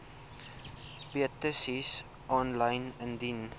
petisies aanlyn indien